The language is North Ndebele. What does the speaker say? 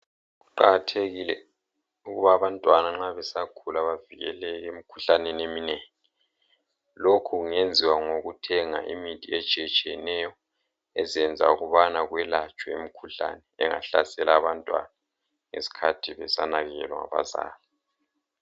Kuqakathekile ukuba abantwana nxa besakhula bevikeleke emikhuhlaneni eminengi, lokho kungenziwa ngokuthenga imithi etshiye tshiyeneyo ezenza ukubana kwelatshwe imikhuhlane engahlasela abantwana ngesikhathi besanakekelwa ngabazali.